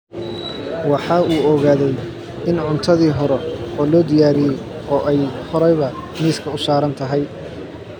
Waxa uu ogaaday in cuntadii hore loo diyaariyey oo ay horeba miiska u saaran tahay